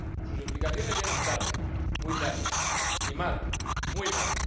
Sus explicaciones llegan tarde —muy tarde— y mal —muy mal—.